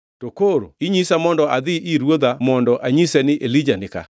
To koro inyisa mondo adhi ir ruodha mondo anyise ni, ‘Elija ni ka.’